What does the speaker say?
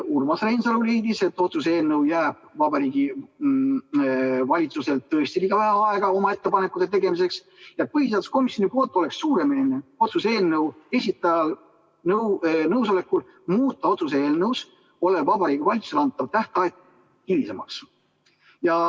Urmas Reinsalu leidis, et otsuse eelnõu puhul jääb Vabariigi Valitsusel tõesti liiga vähe aega oma ettepanekute tegemiseks ja põhiseaduskomisjoni poolt oleks suuremeelne eelnõu esitaja nõusolekul muuta otsuse eelnõus olev Vabariigi Valitsusele antav tähtaeg hilisemaks.